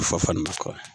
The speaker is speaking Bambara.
Fɔ makɔ